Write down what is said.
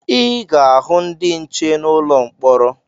Ị ga-ahụ ndị nche n'ụlọ mkpọrọ